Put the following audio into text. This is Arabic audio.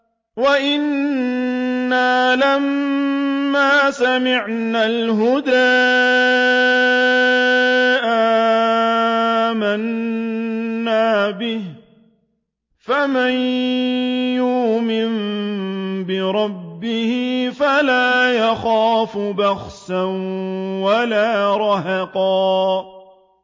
وَأَنَّا لَمَّا سَمِعْنَا الْهُدَىٰ آمَنَّا بِهِ ۖ فَمَن يُؤْمِن بِرَبِّهِ فَلَا يَخَافُ بَخْسًا وَلَا رَهَقًا